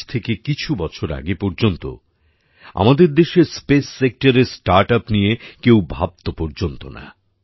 আজ থেকে কিছু বছর আগে পর্যন্ত আমাদের দেশে স্পেস সেক্টরে স্টার্টআপ নিয়ে কেউ ভাবত পর্যন্ত না